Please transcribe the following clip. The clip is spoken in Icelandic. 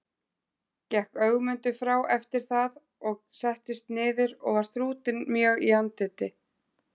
Gekk Ögmundur frá eftir það og settist niður og var þrútinn mjög í andliti.